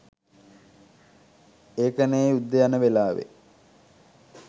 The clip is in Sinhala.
ඒකනේ යුද්දේ යන වෙලාවෙ